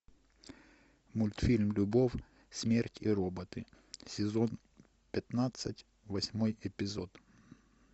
мультфильм любовь смерть и роботы сезон пятнадцать восьмой эпизод